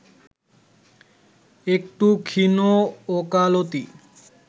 একটু ক্ষীণ ওকালতি